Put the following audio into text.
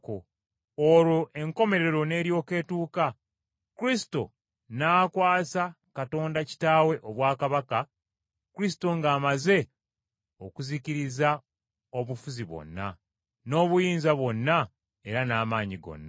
olwo enkomerero n’eryoka etuuka, Kristo n’akwasa Katonda Kitaawe obwakabaka; Kristo ng’amaze okuzikiriza obufuzi bwonna, n’obuyinza bwonna era n’amaanyi gonna.